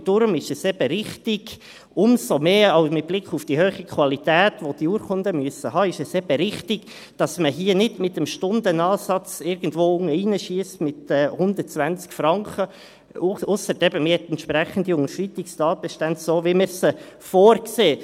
Deshalb ist es eben richtig – umso mehr mit Blick auf die hohe Qualität, welche die Urkunden haben müssen –, dass man hier nicht mit dem Stundenansatz irgendwo unten reinschiesst, mit 120 Franken, ausser, man habe eben entsprechende Unterschreitungstatbestände, so wie wir sie vorsehen.